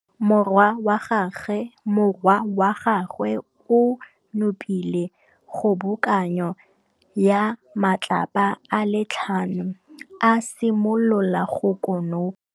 Morwa wa gagwe o nopile kgobokanô ya matlapa a le tlhano, a simolola go konopa.